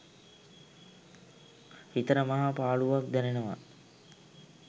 හිතට මහා පාළුවක් දැනෙනවා.